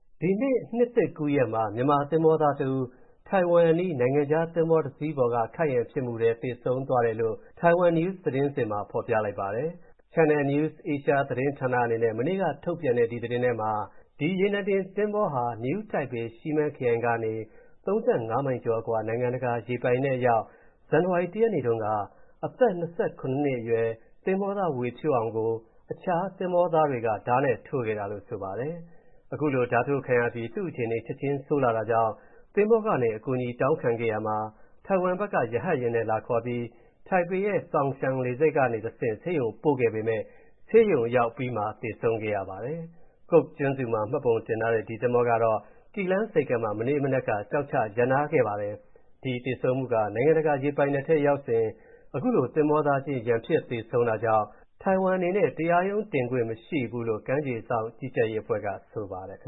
ဒီနှစ် နှစ်သစ်ကူးရက်မှာ မြန်မာသင်္ဘောသားတဦး ထိုင်ဝမ်အနီး နိုင်ငံခြားသင်္ဘောတစီးပေါ်က ခိုက်ရန်ဖြစ်မှုထဲ သေဆုံးသွားတယ်လို့ Taiwan News သတင်းစဉ်မှာ ဖော်ပြလိုက်ပါတယ်။ Channel News Asia အနေနဲ့ မနေ့ကထုတ်ပြန်တဲ့ ဒီသတင်းမှာ ဒီရေနံတင်သင်္ဘောဟာ New Taipei Shimen ခရိုင်ကနေ ၃၅ မိုင်ကျော်အကွာ နိုင်ငံတကာရေပိုင်နက်အရောက် ဇန်နဝါရီ ၁ ရက်နေ့တုန်းက အသက် ၂၇ နှစ်အရွယ် သင်္ဘောသား ဝေဖြိုးအောင်ကို အခြားသင်္ဘောသားတွေက ဓားနဲ့ထိုးခဲ့တာလို့ ဆိုပါတယ်။ ခုလို ဓားထိုးခံရပြီး သူ့အခြေအနေ ချက်ချင်းဆိုးလာတာကြောင့် သင်္ဘောကနေ အကူအညီတောင်းခံခဲ့ရာမှာ ထိုင်ဝမ်ဘက်က ရဟတ်ယာဉ်နဲ့လာခေါ်ပြီး ထိုင်ပေရဲ့ Songshan လေဆိပ်ကတဆင့် ဆေးရုံပို့ခဲ့ပေမယ့် ဆေးရုံရောက်အပြီးမှာ သေဆုံးခဲ့ပါတယ်။ Cook ကျွန်းစုမှာ မှတ်ပုံတင်ထားတဲ့ ဒီသင်္ဘောကတော့ Keelung ဆိပ်ကမ်းမှာ မနေ့မနက်က ကျောက်ချရပ်နားထားခဲ့ပါတယ်။ ဒီသေဆုံးမှုက နိုင်ငံတကာရေပိုင်နက်ထဲ ရောက်နေစဉ် အခုလို သင်္ဘောသားချင်း ရန်ဖြစ်သေဆုံးတာကြောင့် ထိုင်ဝမ်အနေနဲ့ တရားရုံးတင်ခွင့် မရှိဘူးလို့ ကမ်းခြေစောင့်ကြီးကြပ်ရေးအဖွဲ့က ဆိုပါတယ်။